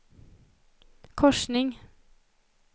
korsning